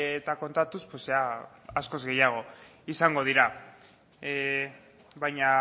eta kontatuz askoz gehiago izango dira baina